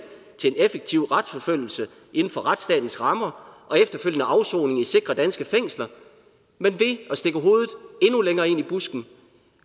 til en effektiv retsforfølgelse inden for retsstatens rammer og efterfølgende afsoning i sikre danske fængsler men ved at stikke hovedet endnu længere ind i busken